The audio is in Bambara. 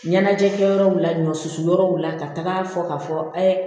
Ɲɛnajɛ kɛ yɔrɔw la ɲɔ susu yɔrɔw la ka taga fɔ ka fɔ ɛɛ